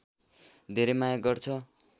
धेर माया गर्छ